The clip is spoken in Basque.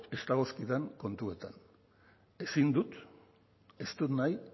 ez dagozkidan kontuetan ezin dut ez dut nahi